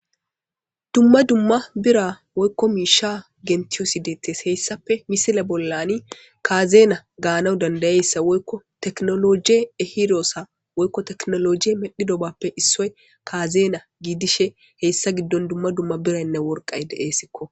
Dumma dumma bira woyko miisha genthi wosidetees hayssappee misile bollaani kaazeena gaanawu dandayeta woyko teknolojje ehidossa woyko teknolojje medhdhidobappe issoy kaazeena giddishe he issa giddon dumma dumma biranne woraqqay de'eesiko.